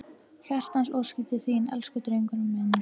Hjartans óskir til þín, elsku drengurinn minn!